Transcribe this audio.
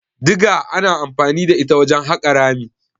Diga ana anfani da ita wajen haƙa rami.